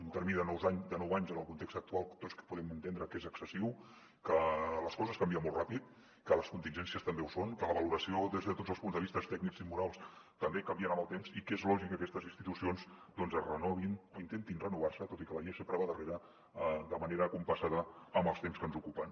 un termini de nou anys en el context actual tots podem entendre que és excessiu que les coses canvien molt ràpid que les contingències també ho són que la valoració des de tots els punts de vista tècnics i morals també canvien amb el temps i que és lògic que aquestes institucions doncs es renovin o intentin renovar se tot i que la llei sempre va darrere de manera compassada amb els temps que ens ocupen